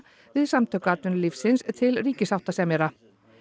við Samtök atvinnulífsins til ríkissáttasemjara